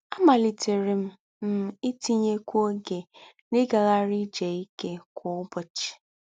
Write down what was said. Àmálítéré m m ítínyékwú ógé n’ígághárí ìjé íké kwá ùbọ́chì